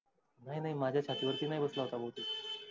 नाही नाही माझ छाती वरती नाही घुसला होता.